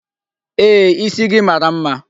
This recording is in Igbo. Ee, isi gị mara mma.